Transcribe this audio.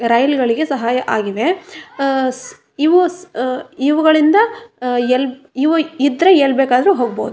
ರೈಲುಗಳಿಗೆ ಸಹಾಯವಾಗಿವೆ ಆ ಇವು ಸ್ ಆ ಇವುಗಳಿಂದ ಆ ಎಲ್ ಇವು ಇದ್ರೆ ಎಲ್ಲಿ ಬೇಕಾದ್ರು ಹೋಗಬಹುದು.